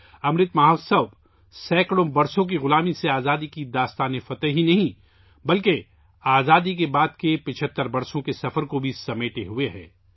امرت مہوتسو نہ صرف سیکڑوں سالوں کی غلامی سے آزادی کی فتح کی داستان کا احاطہ کرتا ہے، بلکہ آزادی کے بعد 75 سال کے سفر کا بھی احاطہ کرتا ہے